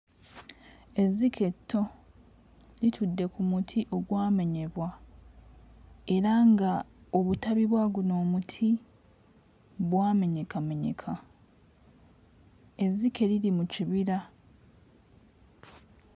Ezzike etto litudde ku muti ogwamenyebwa era nga obutabi bwa guno omuti bwamenyekamenyeka ezzike liri mu kibira.